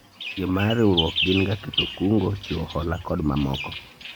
tije mar riwruok gin ga keto kungo , chiwo hola kod mamoko